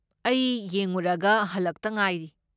ꯑꯩ ꯌꯦꯡꯉꯨꯔꯒ ꯍꯜꯂꯛꯇ ꯉꯥꯏꯔꯤ꯫